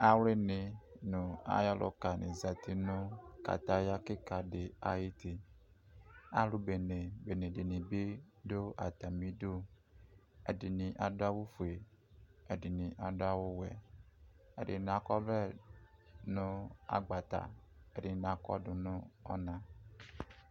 awli ni no ayo ɔluka ni zati no kataya keka di ayiti alo bene bene di ni bi do atami du ɛdini ado awu fue ɛdini ado awu wɛ ɛdini akɔ ɔvlɛ no agbata ɛdini akɔdo no ɔna